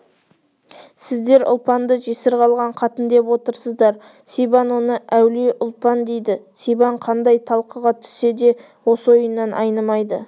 сіздер ұлпанды жесір қалған қатын деп отырсыздар сибан оны әулие ұлпан дейді сибан қандай талқыға түссе де осы ойынан айнымайды